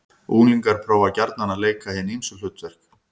Unglingar prófa gjarnan að leika hin ýmsu hlutverk.